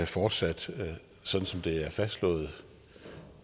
fortsat sådan som det er fastslået